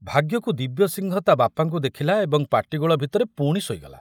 ଭାଗ୍ୟକୁ ଦିବ୍ୟସିଂହ ତା ବାପାଙ୍କୁ ଦେଖିଲା ଏବଂ ପାଟିଗୋଳ ଭିତରେ ପୁଣି ଶୋଇଗଲା।